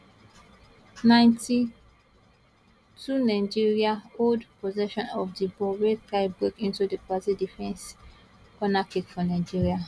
90 2 nigeria hold possession of di ball dey try break into di brazil defence corner kick for nigeria